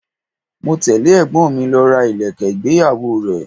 Mo tẹle ẹ̀gbọ́n mi lọ ra ilẹ̀kẹ̀ ìgbéyàwó rẹ.